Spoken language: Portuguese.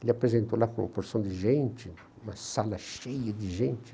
Ele apresentou lá com uma porção de gente, uma sala cheia de gente.